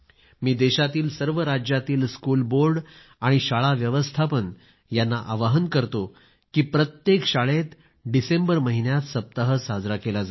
मी देशातील सर्व राज्यातील स्कूल बोर्ड आणि शाळा व्यवस्थापन यांना आवाहन करतो की प्रत्येक शाळेत डिसेंबर महिन्यात सप्ताह साजरा केला जावा